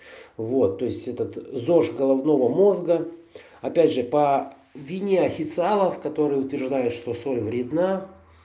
вот то есть этот зож головного мозга опять же по вине официалов которые утверждают что соль вредна